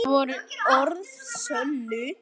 Það voru orð að sönnu.